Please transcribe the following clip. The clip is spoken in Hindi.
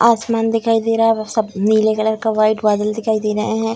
आसमान दिखाई दे रहा है वो सब नीले कलर का वाइट बादल दिखाई दे रहे हैं।